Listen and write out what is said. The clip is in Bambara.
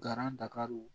Garan dagariw